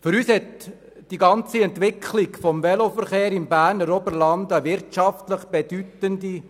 Für uns ist die ganze Entwicklung des Veloverkehrs im Berner Oberland wirtschaftlich bedeutend.